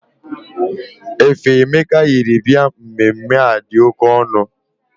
Efe Emeka yiri bịa mmemme a dị oke ọnụ.